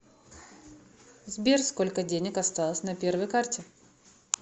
сбер сколько денег осталось на первой карте